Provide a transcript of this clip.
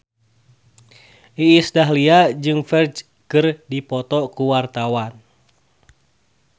Iis Dahlia jeung Ferdge keur dipoto ku wartawan